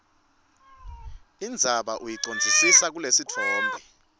indzaba uyicondzise kulesitfombe